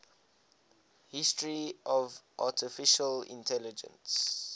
history of artificial intelligence